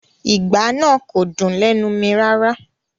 Ìgbá náà kò dùn lẹ́nu mi rárá